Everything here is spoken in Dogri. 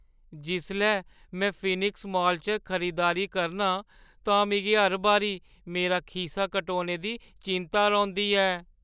जिसलै में फीनिक्स मॉल च खरीदारी करना आं तां मिगी हर बारी मेरा खीसा कटोने दी चिंता रौंह्दी ऐ।